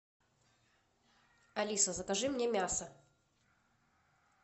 алиса закажи мне мясо